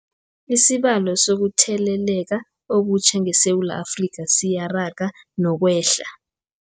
Isibalo sokuthele leka okutjha ngeSewula Afrika siyaraga nokwehla.